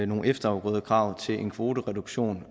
nogle efterafgrødekrav til en kvotereduktion